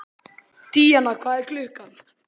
Díanna, hvað er klukkan?